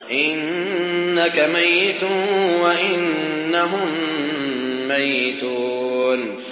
إِنَّكَ مَيِّتٌ وَإِنَّهُم مَّيِّتُونَ